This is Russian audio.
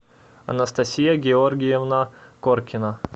анастасия георгиевна коркина